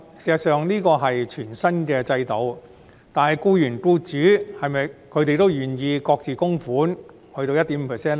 事實上，這是全新的制度，但僱員和僱主是否也願意各自供款 1.5% 呢？